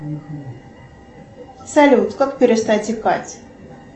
салют как перестать икать